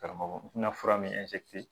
Karamɔgɔ n tɛna fura min